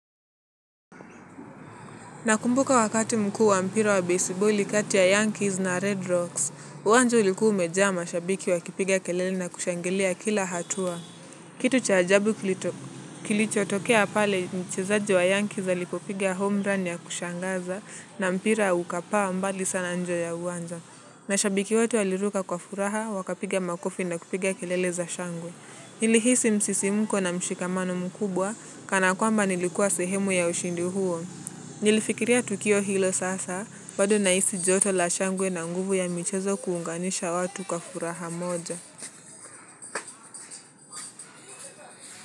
Nakumbuka wakati mkuu wa mpira wa besiboli kati ya Yankees na Red Rocks, uwanja ulikuwa umejaa mashabiki wakipiga kelele na kushangilia kila hatua. Kitu cha ajabu kilichotokea pale mchezaji wa Yankees alipopiga home run ya kushangaza na mpira ukapaa mbali sana nje ya uwanja. Mashabiki wote waliruka kwa furaha wakapiga makofi na kupiga kelele za shangwe. Nilihisi msisimko na mshikamano mkubwa kana kwamba nilikuwa sehemu ya ushindi huo. Nikifikiria tukio hilo sasa bado nahisi joto la shangwe na nguvu ya michezo kuunganisha watu kwa furaha moja.